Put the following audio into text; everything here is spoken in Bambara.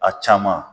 A caman